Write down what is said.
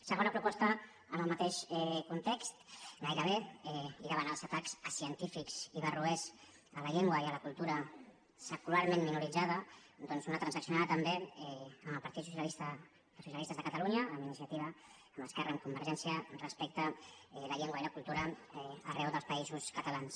segona proposta en el mateix context gairebé i da·vant els atacs acientífics i barroers a la llengua i a la cultura secularment minoritzada doncs una trans·accionada també amb el partit dels socialistes de catalunya amb iniciativa amb esquerra amb con·vergència respecte a la llengua i la cultura arreu dels països catalans